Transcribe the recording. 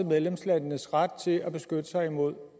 medlemslandenes ret til at beskytte sig mod